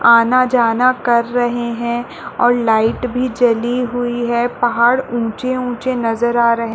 आना- जाना कर रहे है और लाईट भी जली हुई है पहाड़ ऊंचे- ऊंचे नजर आ रहे --